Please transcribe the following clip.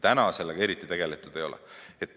Praegu sellega eriti tegeldud ei ole.